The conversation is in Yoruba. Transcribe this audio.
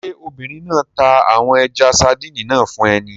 Ṣé obìnrin náà ta àwọn ẹja-sadíìnì náà fún ẹ ni?